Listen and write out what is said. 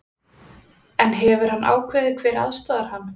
En hefur hann ákveðið hver aðstoðar hann?